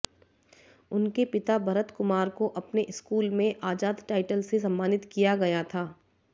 उनके पिता भरत कुमार को अपने स्कूल में आजाद टाइटल से सम्मानित किया गया था